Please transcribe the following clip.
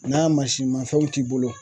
N'a masinmafɛnw t'i bolo